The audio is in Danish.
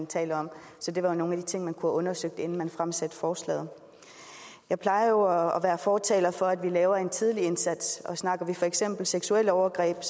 tales om det var nogle af de ting man kunne have undersøgt inden man fremsatte forslaget jeg plejer fortaler for at vi laver en tidlig indsats og snakker vi for eksempel seksuelle overgreb